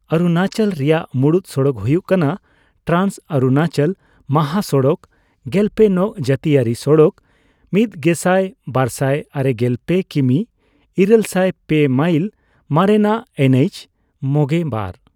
ᱚᱨᱩᱱᱟᱪᱚᱞ ᱨᱮᱱᱟᱜ ᱢᱩᱬᱩᱫ ᱥᱚᱲᱚᱠ ᱦᱩᱭᱩᱜ ᱠᱟᱱᱟ ᱴᱨᱟᱱᱥ ᱚᱨᱩᱱᱟᱪᱚᱞ ᱢᱟᱦᱟᱥᱚᱲᱚᱠ, ᱜᱮᱞᱯᱮ ᱱᱚᱝ ᱡᱟᱹᱛᱤᱭᱟᱨᱤ ᱥᱚᱲᱚᱠ ( ᱢᱤᱛᱜᱮᱥᱟᱭ ᱵᱟᱨᱥᱟᱭ ᱟᱨᱮᱜᱮᱞ ᱯᱮ ᱠᱤᱢᱤ ᱤᱨᱟᱹᱞᱥᱟᱭ ᱯᱮ ᱢᱟᱭᱤᱞ; ᱢᱟᱨᱮᱱᱟᱜ ᱮᱱ ᱮᱭᱤᱪᱼ᱕᱒) ᱾